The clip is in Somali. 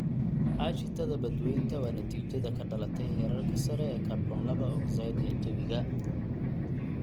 Aashitada badweynta waa natiijada ka dhalatay heerarka sare ee kaarboon laba ogsaydh ee jawiga.